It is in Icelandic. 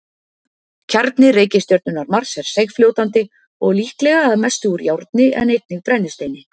Kjarni reikistjörnunnar Mars er seigfljótandi og líklega að mestu úr járni en einnig brennisteini.